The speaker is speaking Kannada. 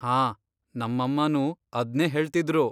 ಹಾ, ನಮ್ಮಮ್ಮನೂ ಅದ್ನೇ ಹೇಳ್ತಿದ್ರು.